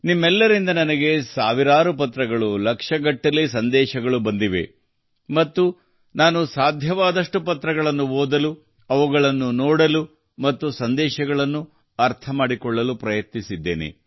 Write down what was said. ನಿಮ್ಮೆಲ್ಲರಿಂದ ನನಗೆ ಸಾವಿರಾರು ಪತ್ರಗಳು ಲಕ್ಷಗಟ್ಟಲೆ ಸಂದೇಶಗಳು ಬಂದಿವೆ ಮತ್ತು ನಾನು ಸಾಧ್ಯವಾದಷ್ಟು ಪತ್ರಗಳನ್ನು ಓದಲು ಅವುಗಳನ್ನು ನೋಡಲು ಮತ್ತು ಸಂದೇಶಗಳನ್ನು ಅರ್ಥಮಾಡಿಕೊಳ್ಳಲು ಪ್ರಯತ್ನಿಸಿದ್ದೇನೆ